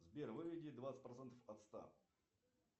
сбер выведи двадцать процентов от ста